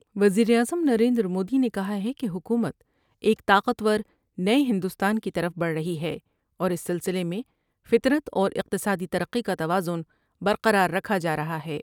وزیراعظم نریندرمودی نے کہا ہے کہ حکومت ایک طاقتور نے ہندوستان کی طرف بڑھ رہی ہے اور اس سلسلے میں فطرت اور اقتصادی ترقی کا توازن برقرار رکھا جارہا ہے ۔